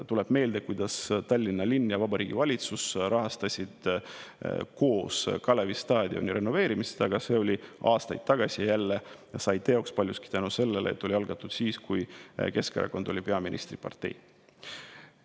Tuleb meelde, kuidas Tallinn ja Vabariigi Valitsus rahastasid koos Kalevi staadioni renoveerimist, aga see oli aastaid tagasi ja sai teoks jälle paljuski tänu sellele, et see oli algatatud siis, kui Keskerakond oli peaministripartei.